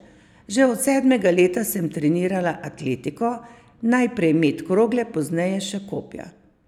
Že od sedmega leta sem trenirala atletiko, najprej met krogle, pozneje še kopja.